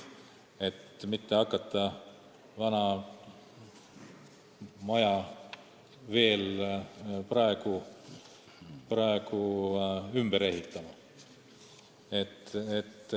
Pole mõtet hakata vana maja veel praegu ümber ehitama.